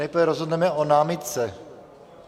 Nejprve rozhodneme o námitce.